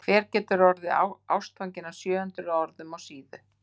En hver getur orðið ástfanginn af sjö hundruð orðum á síðu?